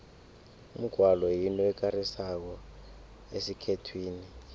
umgwalo yinto ekarisako esikhethwini